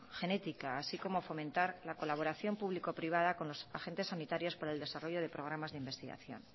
genética así como fomentar la colaboración público privada con los agentes sanitarios por el desarrollo de programas de investigación